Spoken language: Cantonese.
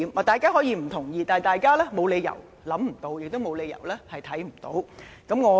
大家可以不同意，但他們沒有理由想不到，亦沒有理由看不到。